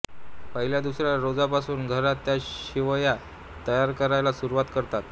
पहिल्या दुसऱ्या रोजापासून घरात त्या शेवया तयार करायला सुरुवात करतात